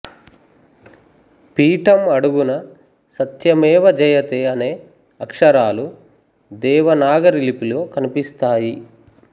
పీటం అడుగున సత్యమేవ జయతే అనే అక్షరాలు దేవనాగరి లిపిలో కన్పిస్తాయి